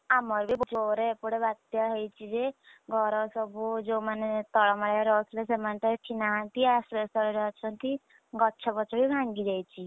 ଆମର ବିଜୋରେ ଏପଟେ ବାତ୍ୟା ହେଇଛି ଯେ ଘର ସବୁ ଯୋଉ ମାନେ ତଳ ମାଳିଆରେ ରହୁଥିଲେ ସେମାନେ ତ ଏଠି ନାହାନ୍ତି ଆଶ୍ରୟସ୍ଥଳୀରେ ଅଛନ୍ତି, ଗଛଫଛ ବି ଭାଙ୍ଗି ଯାଇଛି,